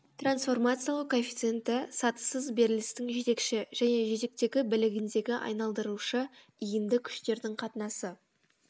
трансформациялау коэффициенті сатысыз берілістің жетекші және жетектегі білігіндегі айналдырушы иінді күштердің қатынасы